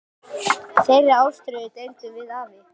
Þeirri ástríðu deildum við afi.